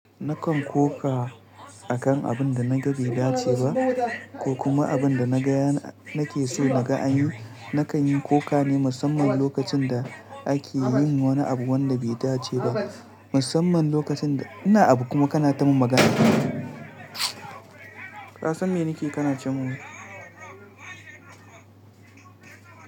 Nakan koka akan abun da naga bai dace ba, ko kuma abun da na ga nake so na ga an yi. Nakan yi koka ne musamman lokacin da ake yin wani abu wanda bai dace ba. Musamman lokacin ina abu kuma kana ta mun magana. Ka san me nake kana ce mun.